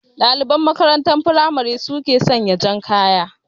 Ɗaliban makarantar firamare su ke sanya jan kaya